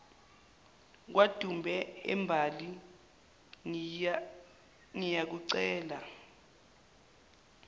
kwadube embali ngiyakucela